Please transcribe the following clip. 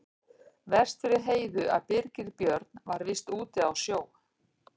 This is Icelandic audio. Verst fyrir Heiðu að Birgir Björn var víst úti á sjó.